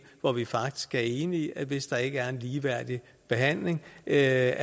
hvor vi faktisk er enige om at hvis der ikke er en ligeværdig behandling af